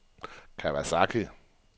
Kawasaki